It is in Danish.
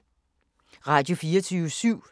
Radio24syv